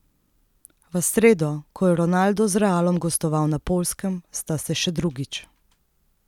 V sredo, ko je Ronaldo z Realom gostoval na Poljskem, sta se še drugič.